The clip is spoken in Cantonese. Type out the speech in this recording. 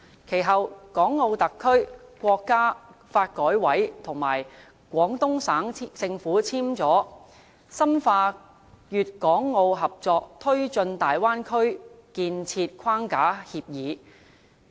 其後，港澳特區、國家發改委和廣東省政府簽署了《深化粵港澳合作推進大灣區建設框架協議》。